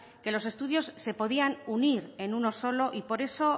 que los estudios se podían unir en uno solo y por eso